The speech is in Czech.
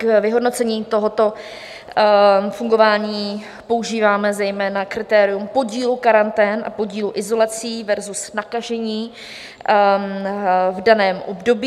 K vyhodnocení tohoto fungování používáme zejména kritérium podílu karantén a podílu izolací versus nakažených v daném období.